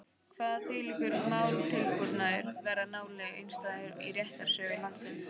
Kvað þvílíkur málatilbúnaður vera nálega einstæður í réttarsögu landsins.